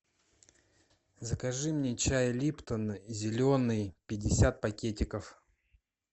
закажи мне чай липтон зеленый пятьдесят пакетиков